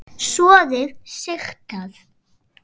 Soðið sigtað.